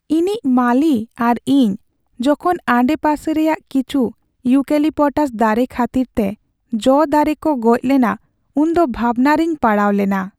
ᱤᱧᱤᱡ ᱢᱟᱹᱞᱤ ᱟᱨ ᱤᱧ ᱡᱚᱠᱷᱚᱱ ᱟᱰᱮᱯᱟᱥᱮ ᱨᱮᱭᱟᱜ ᱠᱤᱪᱷᱩ ᱤᱭᱩᱠᱮᱞᱤᱯᱴᱟᱥ ᱫᱟᱨᱮ ᱠᱷᱟᱹᱛᱤᱨᱛᱮ ᱡᱚ ᱫᱟᱨᱮ ᱠᱚ ᱜᱚᱡ ᱞᱮᱱᱟ ᱩᱱᱫᱚ ᱵᱷᱟᱵᱽᱱᱟᱨᱮᱧ ᱯᱟᱲᱟᱣᱞᱮᱱᱟ ᱾